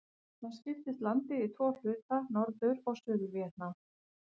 Þá skiptist landið í tvo hluta, Norður- og Suður-Víetnam.